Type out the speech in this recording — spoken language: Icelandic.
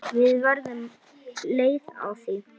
Við verðum leið á því.